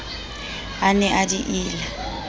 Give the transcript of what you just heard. a ne a di ila